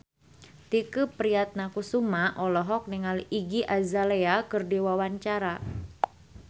Tike Priatnakusuma olohok ningali Iggy Azalea keur diwawancara